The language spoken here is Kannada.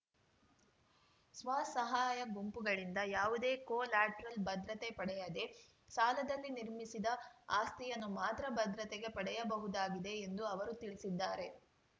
ಸ್ವ ಸಹಾಯ ಗುಂಪುಗಳಿಂದ ಯಾವುದೇ ಕೊಲ್ಯಾಟ್ರಲ್‌ ಭದ್ರತೆ ಪಡೆಯದೇ ಸಾಲದಲ್ಲಿ ನಿರ್ಮಿಸಿದ ಆಸ್ತಿಯನ್ನು ಮಾತ್ರ ಭದ್ರತೆಗೆ ಪಡೆಯಬಹುದಾಗಿದೆ ಎಂದು ಅವರು ತಿಳಿಸಿದ್ದಾರೆ